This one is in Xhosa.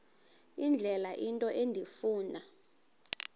indlela into endifuna